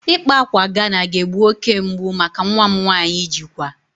Ịkpa ákwà Ghana ga-egbu oke mgbu maka nwa m nwanyị ijikwa